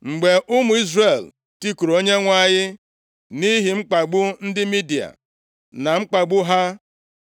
Mgbe ụmụ Izrel tikuru Onyenwe anyị nʼihi mkpagbu ndị Midia na-akpagbu ha,